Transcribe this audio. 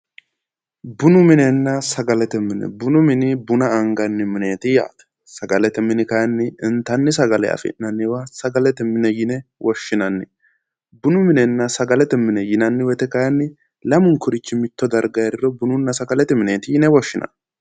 Bunu minenna sagalete mine ,bunu mini buna anganni mineti yaate, sagalete mini kayinni intanni sagale afi'nanniwa sagalete mine yine woshshinanni, bunu minenna sagalete mine yinnanni woyte kayinni lamukkurichi mite heeriro bununna sagalete mineti yinne woshshinanni